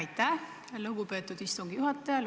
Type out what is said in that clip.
Aitäh, lugupeetud istungi juhataja!